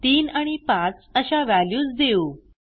3 आणि 5 अशा व्हॅल्यूज देऊ